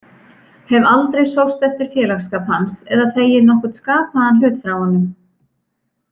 Hef aldrei sóst eftir félagskap hans eða þegið nokkurn skapaðan hlut frá honum.